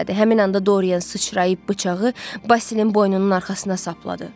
Həmin anda Dorin sıçrayıb bıçağı Basilin boynunun arxasına sapladı.